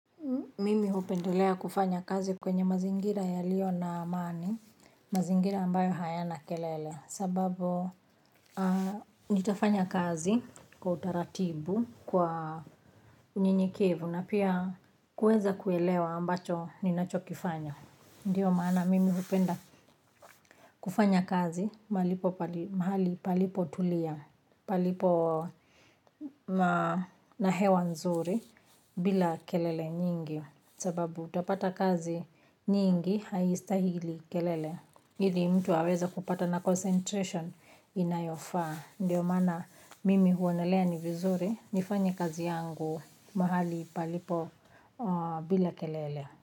Mimi hupendelea kufanya kazi kwenye mazingira yaliyo na amani, mazingira ambayo hayana kelele, sababu nitafanya kazi kwa utaratibu kwa njia ya kituo na pia kuweza kuelewa ninachokifanya. Ndiyo maana mimi hupenda kufanya kazi mahali palipotulia, palipo na hewa nzuri bila kelele nyingi. Sababu utapata kazi nyingi haistahili kelele. Ili mtu haweza kupata na concentration inayofaa. Ndiyo maana mimi huona ni vizuri nifanye kazi yangu mahali palipo bila kelele.